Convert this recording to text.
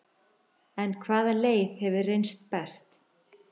En hvaða leið hefur reynst best?